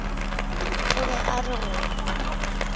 o be a re go